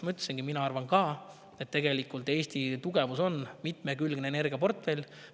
Nagu ma ütlesin, mina arvan ka, et Eesti tugevus on mitmekülgne energiaportfell.